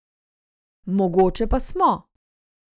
Mogoče pa smo?